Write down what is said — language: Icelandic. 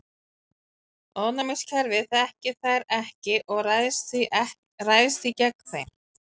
Ónæmiskerfið þekkir þær ekki og ræðst því gegn þeim.